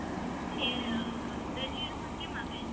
તે ઓલું ગ્રેજ્યુએસન કેમ કર્યું